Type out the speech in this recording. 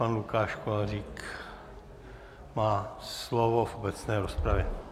Pan Lukáš Kolářík má slovo v obecné rozpravě.